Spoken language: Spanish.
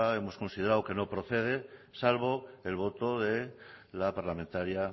hemos considerado que no procede salvo el voto de la parlamentaria